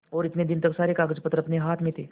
और इतने दिन तक सारे कागजपत्र अपने हाथ में थे